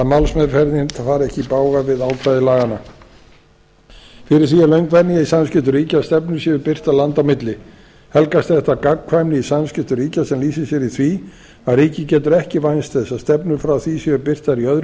ákvæði laganna fyrir því er löng venja í samskiptum ríkja að stefnur séu birtar landa á milli helgast þetta af gagnkvæmni í samskiptum ríkja sem lýsir sér í því að ríki getur ekki vænst þess að stefnur frá því séu birtar í öðrum